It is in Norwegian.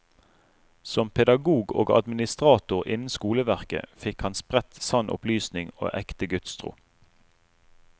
Som pedagog og administrator innen skoleverket fikk han spredt sann opplysning og ekte gudstro.